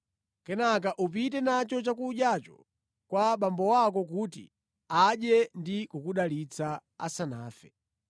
Kenaka upite nacho chakudyacho kwa abambo ako kuti adye ndi kukudalitsa asanafe.”